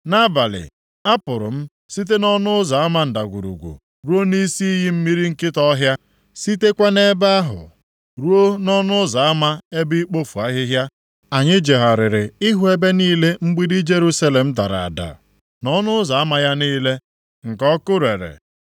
Nʼabalị a pụrụ m site nʼỌnụ ụzọ ama Ndagwurugwu + 2:13 Ọnụ ụzọ ama a dị nʼọdịda anyanwụ nke mgbidi Jerusalem, \+xt 2Ih 26:9; Neh 3:13. ruo nʼisi iyi mmiri Nkịta ọhịa, + 2:13 Agwọ, nʼokwu ịma atụ sitekwa nʼebe ahụ ruo nʼỌnụ ụzọ ama ebe ikpofu ahịhịa. + 2:13 Ọnụ ụzọ ama dị nʼebe a na-ekpofu ahịhịa, bụ ọnụ ụzọ ndị Juu na-esite mgbe ha na-edupụ ụmụ anụmanụ e ji achụ aja, ị duru ha jeruo Ndagwurugwu nke Ben Hinom. Gụọ akwụkwọ \+xt Neh 3:14; 2Ez 23:10\+xt* Anyị jegharịrị ịhụ ebe niile mgbidi Jerusalem dara ada, na ọnụ ụzọ ama ya niile nke ọkụ rere.